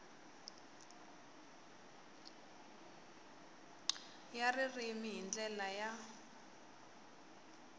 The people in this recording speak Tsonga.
ya ririmi hi ndlela ya